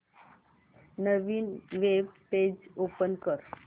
नवीन web page open कर